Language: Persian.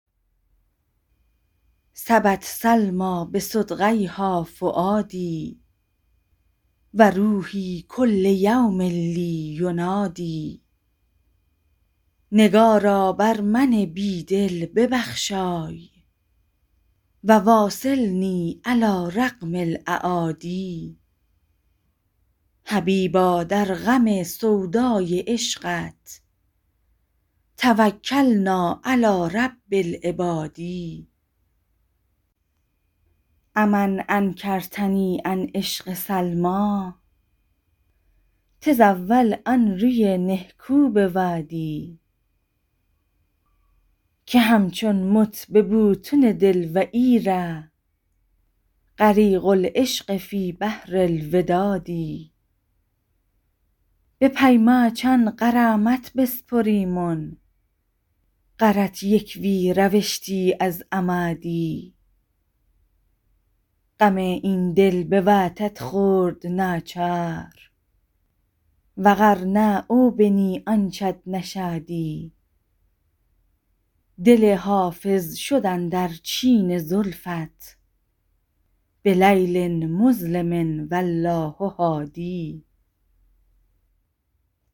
سبت سلمیٰ بصدغیها فؤادي و روحي کل یوم لي ینادی نگارا بر من بی دل ببخشای و واصلني علی رغم الأعادي حبیبا در غم سودای عشقت توکلنا علی رب العباد أ من انکرتني عن عشق سلمیٰ تزاول آن روی نهکو بوادی که همچون مت به بوتن دل و ای ره غریق العشق فی بحر الوداد به پی ماچان غرامت بسپریمن غرت یک وی روشتی از اما دی غم این دل بواتت خورد ناچار و غر نه او بنی آنچت نشادی دل حافظ شد اندر چین زلفت بلیل مظلم و الله هادی